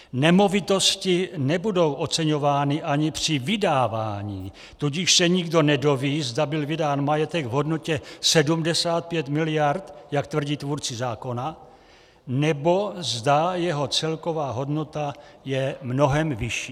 Nemovitosti nebudou oceňovány ani při vydávání, tudíž se nikdo nedoví, zda byl vydán majetek v hodnotě 75 miliard, jak tvrdí tvůrci zákona, nebo zda jeho celková hodnota je mnohem vyšší."